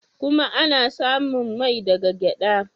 Kuma ana samun mai daga gyada.